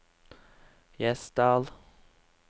Gjesdal